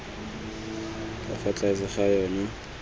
ka fa tlase ga yona